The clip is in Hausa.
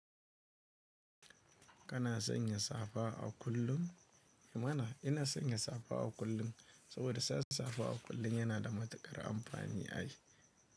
Kana son yin safa a kullum? Mana ina son yin safa a kullum, saboda sa safa a kullum yana da matuƙar amfani a yi.